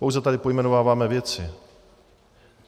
Pouze tady pojmenováváme věci.